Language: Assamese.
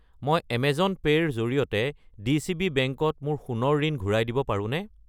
মই এমেজন পে' ৰ জৰিয়তে ডিচিবি বেংক ত মোৰ সোণৰ ঋণ ঘূৰাই দিব পাৰোনে?